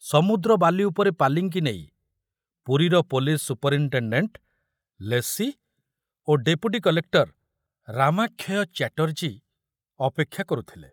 ସମୁଦ୍ର ବାଲି ଉପରେ ପାଲିଙ୍କି ନେଇ ପୁରୀର ପୋଲିସ ସୁପରିନଟେଣ୍ଡେଣ୍ଟ ଲେସି ଓ ଡେପୁଟି କଲେକ୍ଟର ରାମାକ୍ଷୟ ଚ୍ୟାଟର୍ଜୀ ଅପେକ୍ଷା କରୁଥିଲେ।